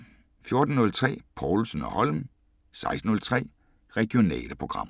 14:03: Povlsen & Holm 16:03: Regionale programmer